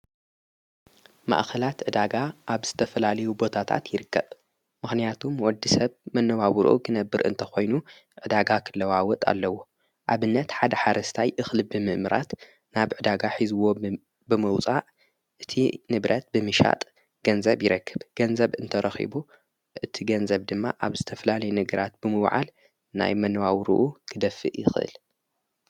ማእኸላት ዕዳጋ ኣብ ዝተፍላልዊ ቦታታት ይርከብ ምኽንያቱም ወዲ ሰብ መነዋውሩኡ ክነብር እንተ ኾይኑ ዕዳጋ ኽለዋወጥ ኣለዎ ኣብነት ሓደ ሓረስታይ እኽልቢምእምራት ናብ ዕዳጋ ኂዝዎ ብምውፃእ እቲ ንብረት ብሚሻጥ ገንዘብ ይረክብ ገንዘብ እንተ ረኺቡ እቲ ገንዘብ ድማ ኣብ ዝተፍላል ነግራት ብምውዓል ናይ መነዋውሩኡ ክደፊእ ይኽህል::